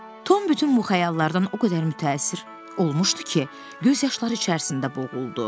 Tom bütün bu xəyallardan o qədər mütəəssir olmuşdu ki, göz yaşları içərisində boğuldu.